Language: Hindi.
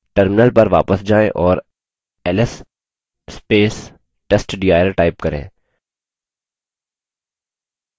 terminal पर वापस जायें और ls testdir type करें